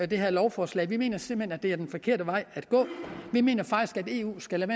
det her lovforslag vi mener simpelt hen at det er den forkerte vej at gå vi mener faktisk at eu skal